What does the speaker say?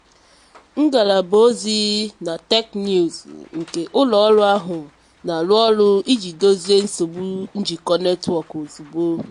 ngalaba ozi na teknụzụ nke ụlọ ọrụ ahụ na-arụ ọrụ iji dozie nsogbu njikọ netwọkụ ozugbo.